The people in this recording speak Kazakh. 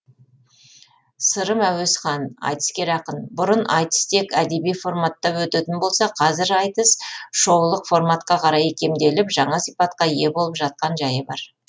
сырым әуесхан айтыскер ақын бұрын айтыс тек әдеби форматта өтетін болса қазір айтыс шоулық форматқа қарай икемделіп жаңа сипатқа ие болып жақан жайы бар